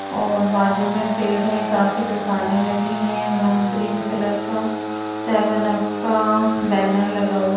और बाजू में पेड़ हैं काफी दुकानें लगी हैं वहाँ ग्रीन कलर का सेवन अप का बैनर लगा हुआ --